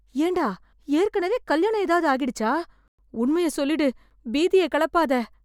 ஏன்டா ஏற்கனவே கல்யாணம் ஏதாவது ஆகிடுச்சா? உண்மைய சொல்லிடு. பீதிய கெளப்பாத.